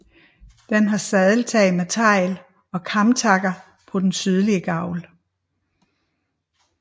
Den har sadeltag med tegl og kamtakker på den sydlige gavl